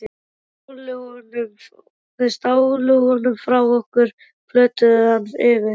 Þeir stálu honum frá okkur, plötuðu hann yfir.